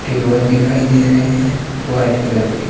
table दिखाई दे रहे हैं व्हाइट कलर के--